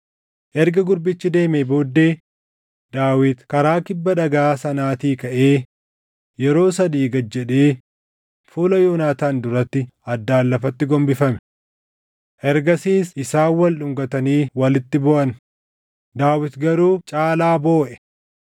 Erga gurbichi deemee booddee Daawit karaa kibba dhagaa sanaatii kaʼee yeroo sadii gad jedhee fuula Yoonaataan duratti addaan lafatti gombifame. Ergasiis isaan wal dhungatanii walitti booʼan; Daawit garuu caalaa booʼe.